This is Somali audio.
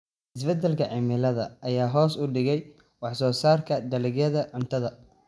Isbeddelka cimilada ayaa hoos u dhigay wax soo saarka dalagyada cuntada.